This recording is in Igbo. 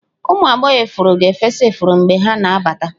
Ụmụ agbọghọ ifuru ga-efesa ifuru mgbe ha na-abata.